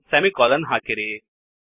semicolon ಹಾಕಿರಿ